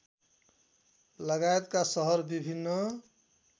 लगायतका सहर विभिन्न